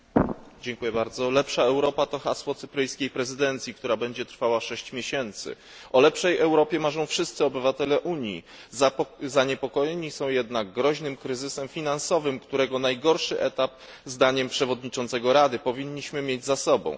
Panie Przewodniczący! Lepsza Europa to hasło cypryjskiej prezydencji, która będzie trwała sześć miesięcy. O lepszej Europie marzą wszyscy obywatele Unii. Zaniepokojeni są jednak groźnym kryzysem finansowym, którego najgorszy etap, zdaniem przewodniczącego Rady, powinniśmy mieć za sobą.